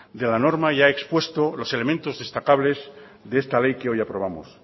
de la norma y ha expuesto los elementos destacables de esta ley que hoy aprobamos